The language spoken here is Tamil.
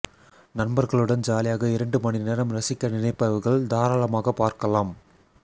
நண்பர்களுடன் ஜாலியாக இரண்டு மணி நேரம் ரசிக்க நினைப்பவர்கள் தாராளமாக பார்க்கலாம்